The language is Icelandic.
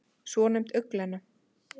svonefnd augnglenna